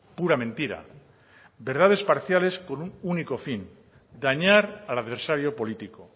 pura mentira verdades parciales con un único fin dañar al adversario político